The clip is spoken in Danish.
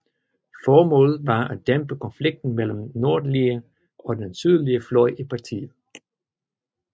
Formålet var at dæmpe konflikten mellem den nordlige og den sydlige fløj i partiet